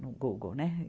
no Google, né?